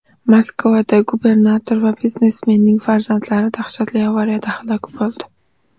Moskvada gubernator va biznesmenning farzandlari dahshatli avariyada halok bo‘ldi.